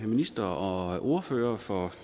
ministeren og ordførerne for